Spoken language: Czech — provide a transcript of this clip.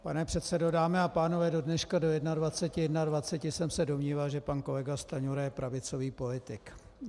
Pane předsedo, dámy a pánové, do dneška do 21.21 jsem se domníval, že pan kolega Stanjura je pravicový politik.